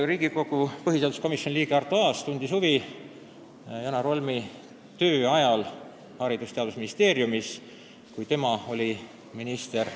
Riigikogu põhiseaduskomisjoni liige Arto Aas tundis huvi Janar Holmi töö vastu Haridus- ja Teadusministeeriumis sellest ajast, kui tema oli minister.